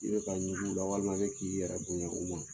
I bɛ ka ɲugu i la walima i bɛ k'i yɛrɛ bonya u ma